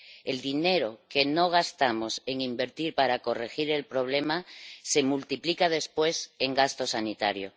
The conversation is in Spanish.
El dinero que no gastamos en invertir para corregir el problema se multiplica después en gasto sanitario.